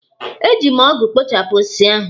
Eji m ọgụ kpochapụ osisi ahụ.